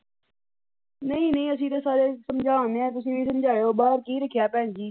ਨਹੀ ਨਹੀ ਅਸੀ ਤਾਂ ਸਾਰੇ ਸਮਝਾਣ ਦੇ ਆਂ ਤੁਸੀ ਵੀ ਸਮਝਾਇਉ ਬਾਹਰ ਕੀ ਰੱੱਖਿਆ ਭੈਣ ਜੀ।